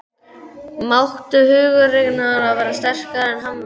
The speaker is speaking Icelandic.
Máttur huggunarinnar varð sterkari en harmurinn.